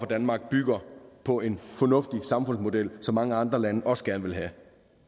danmark bygger på en fornuftig samfundsmodel som mange andre lande også gerne vil have